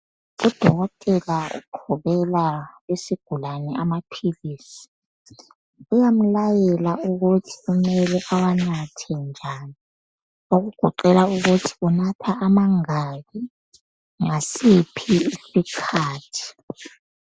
Uqhubela isigulane amaphilisi. Uyamlayela ukuthi kumele ewanathe njani okugoqela ukuthi unatha amangaki ngasiphi isikhathi.